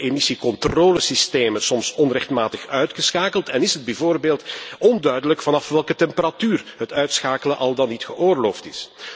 Zo worden emissiecontrolesystemen soms onrechtmatig uitgeschakeld en is het bijvoorbeeld onduidelijk vanaf welke temperatuur het uitschakelen al dan niet geoorloofd is.